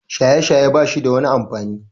Shaye-shaye bashida wani amfani.